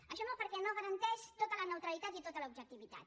això no perquè no garanteix tota la neutralitat ni tota l’objectivitat